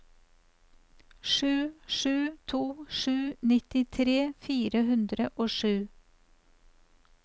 sju sju to sju nittitre fire hundre og sju